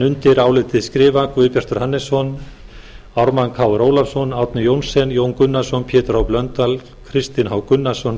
undir álitið skrifa guðbjartur hannesson ármann krónu ólafsson árni johnsen jón gunnarsson pétur h blöndal kristinn h gunnarsson